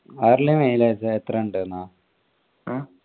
Harley mileage എത്രെയുണ്ട്ന്നാ?